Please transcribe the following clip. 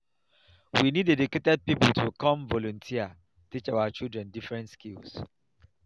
we need educated people to come volunteer teach our children different skills